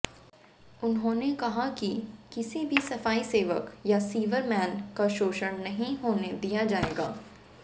उन्होंने कहा कि किसी भी सफाई सेवक या सीवरमैन का शोषण नहीं होने दिया जाएगा